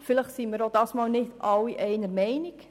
Vielleicht sind wir auch diesmal nicht alle einer Meinung.